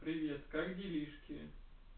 привет как делишки